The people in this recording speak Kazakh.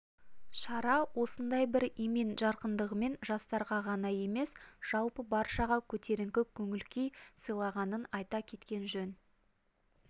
шара осындай бір емен-жарқындығымен жастарға ғана емес жалпы баршаға көтеріңкі көңіл-күй сыйлағанын айта кеткен жөн